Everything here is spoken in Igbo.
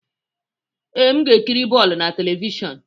Ee, m ga-ekiri bọọlụ na telivishọn.